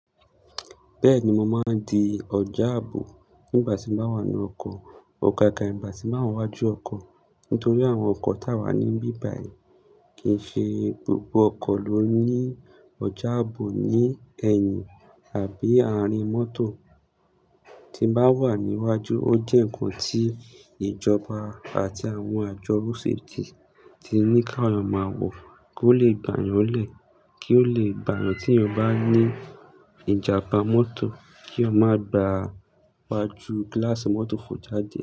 Bẹ́ẹ̀ni, mo máa ń di ọjà ààbò nígbà tí mo wà nínú ọkọ̀. Ó ka ka ìgbà tí màá wà ní iwájú ọkọ̀. Nítorí àwọn ọkọ̀ táa wà ní bíbàyè kìí ṣe gbogbo ọkọ̀ ló ní ọjà ààbò ní ẹ̀yìn àbí àárín mọ́tò. Tí bá wà ní iwájú, ó jẹ́ ǹkan tí ìjọba àti àwọn àjọ orúṣe ti ti ní ká ọmọ àwò kí ó lè gbà yàn lẹ̀, kí ó lè gbà yàn tí ẹ bá ní ìjàpá mọ́tò kí o má gba gbajú glass mọ́tò fò jáde.